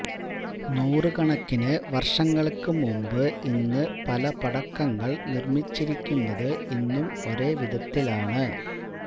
നൂറുകണക്കിനു വർഷങ്ങൾക്കുമുമ്പ് ഇന്ന് പല പടക്കങ്ങൾ നിർമ്മിച്ചിരിക്കുന്നത് ഇന്നും ഒരേ വിധത്തിലാണ്